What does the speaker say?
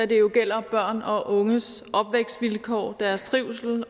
det jo gælder børn og unges opvækstvilkår deres trivsel